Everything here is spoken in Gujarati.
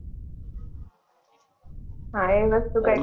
હા વસ્તુ કૈક